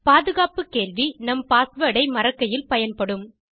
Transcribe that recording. பாதுகாப்பு கேள்வி நாம் பாஸ்வேர்ட் ஐ மறக்கையில் பயன்படும்